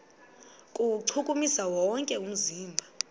kuwuchukumisa wonke umzimba